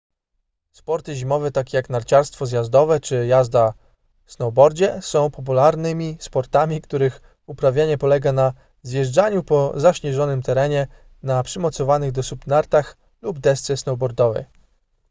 sporty zimowe takie jak narciarstwo zjazdowe czy jazda snowboardzie są popularnymi sportami których uprawianie polega na zjeżdżaniu po zaśnieżonym terenie na przymocowanych do stóp nartach lub desce snowboardowej